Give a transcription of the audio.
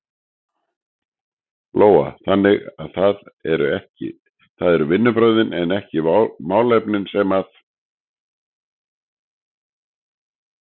Lóa: Þannig að það eru vinnubrögðin en ekki málefnin sem að?